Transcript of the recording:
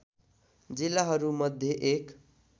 जिल्लाहरू मध्ये एक